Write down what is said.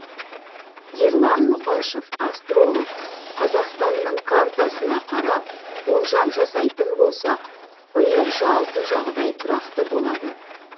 ерлан мұқашев астролог қазақстанның картасына қарап болжам жасайтын болсақ биыл жалпы жағдай тұрақты болады